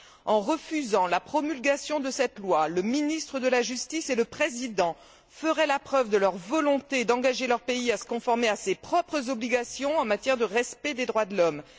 En refusant la promulgation de cette loi, le ministre de la justice et le président feraient la preuve de leur volonté d'engager leur pays à se conformer à ses propres obligations en matière de respect des droits de l'homme.